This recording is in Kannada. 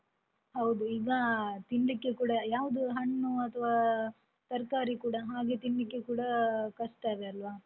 ಹೌದು ಈಗ ತಿನ್ಲಿಕ್ಕೆ ಕೂಡ ಯಾವುದು ಹಣ್ಣು ಅಥ್ವಾ ತರ್ಕಾರಿ ಕೂಡ ಹಾಗೆ ತಿನ್ಲಿಕ್ಕೆ ಕೂಡ ಕಷ್ಟವೇ ಅಲ್ವ.